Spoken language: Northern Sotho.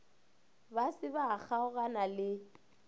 ba se ba kgaogana le